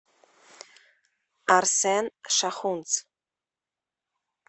арсен шахунц